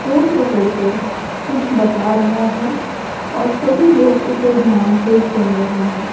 Phone पकड़कर कुछ बता रहा है और सभी लोग उसे ध्यान से सुन रहे हैं।